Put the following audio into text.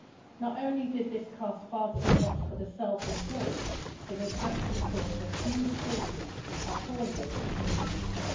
Not only did this cost far too much for the self employed, it has actually caused a huge shortage of hauliers in the UK.